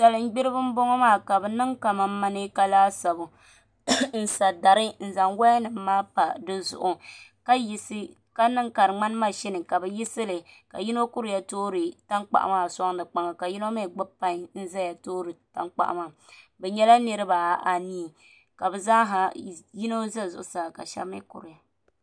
Salin gbiribi n boŋo maa ka bi niŋ ka mɛneeka laasabu n sa dari n zaŋ woya nim pa di zuɣu ka bi yisi li ka yino kuriya toori tankpaɣu maa soŋdi tiŋa ka yino mii gbubi pai n ʒɛya toori tankpaɣu maa bi nyɛla niraba anii ka bi zaaha yino ʒɛ zuɣusaa ka shab mii kuriya